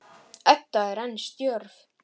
Edda er enn stjörf.